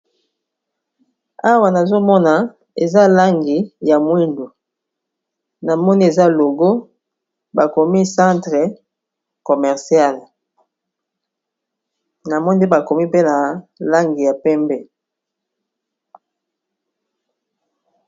Awa nazomona eza langi ya mwindo, namoni eza logo, bakomi centre commerciale, namoni bakomi pe na langi ya pembe.